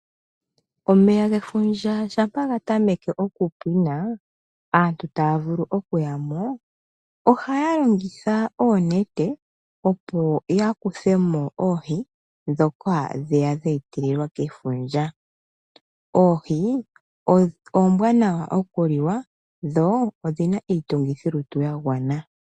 Omeya gefundja shampa gatameke okupwina aantu tavule okuya mo ohaya longitha oonete opo ya kuthemo oohi dhoka dheya dhetelelwa kefundja .Oohi ombwanawa okuliwa dho odhina itungithilutu yagwana .